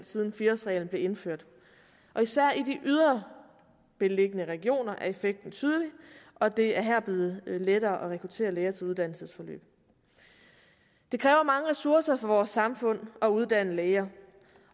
siden fire årsreglen blev indført og især i de ydre beliggende regioner er effekten tydelig og det er her blevet lettere at rekruttere læger til uddannelsesforløb det kræver mange ressourcer for vores samfund at uddanne læger